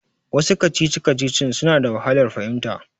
Wasu kacici-kacicicin suna da wahalar fahimta.